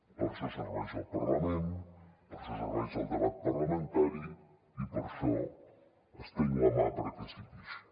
per a això serveix el parlament per a això serveix el debat parlamentari i per això estenc la mà perquè sigui així